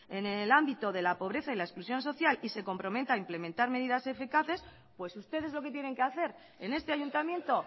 en el ámbito de la pobreza y la exclusión social y se comprometa a implementar medidas eficaces pues ustedes lo que tienen que hacer en este ayuntamiento